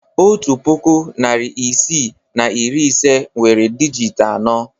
Otu puku, narị isii na iri ise nwere dijịt anọ.